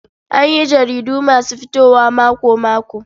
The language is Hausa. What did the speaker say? An yi jaridu masu fitowa mako-mako.